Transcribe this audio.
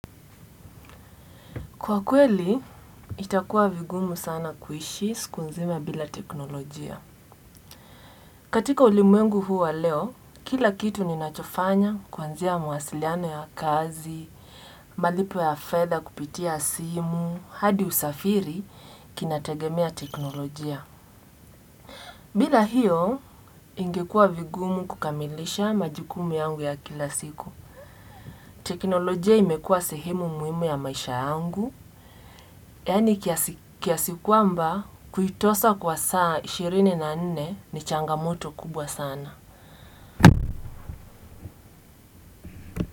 Kwa kweli, itakuwa vigumu sana kuishi, siku nzima bila teknolojia. Katika ulimwengu huu wa leo, kila kitu ninachofanya kuanzia mawasiliano ya kazi, malipo ya fedha kupitia simu, hadi usafiri, kinategemea teknolojia. Bila hiyo, ingekuwa vigumu kukamilisha majukumu yangu ya kila siku. Teknolojia imekua sehemu muhimu ya maisha yangu, yani kiasi kiasikwamba kuitosa kwa saa ishirini na nne ni changamoto kubwa sana.